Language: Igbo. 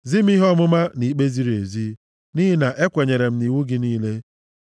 Zi m ihe ọmụma na ikpe ziri ezi nʼihi na ekwenyere m nʼiwu gị niile.